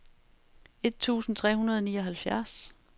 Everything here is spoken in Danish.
et tusind tre hundrede og nioghalvfjerds